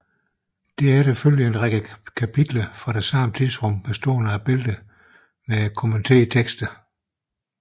Derefter følger en række kapitler fra det samme tidsrum bestående af billeder med kommenterende tekster